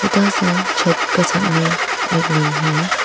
छोटा सा छत का सामने एक रूम है।